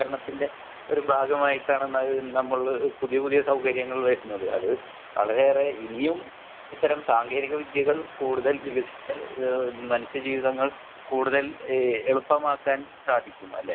വൽക്കരണത്തിന്റെ ഭാഗമായിട്ടാണ് നമ്മൾ പുതിയ പുതിയ സൗകര്യങ്ങൾ വരുന്നത് അത് നമ്മൾ വളരെയേറെ ഇനിയും ഇത്തരം സാങ്കേതിക വിദ്യകൾ വികസിച്ചാൽ മനുഷ്യ ജീവിതങ്ങൾ കൂടുതൽ എളുപ്പമാക്കാൻ സാധിക്കും അല്ലെ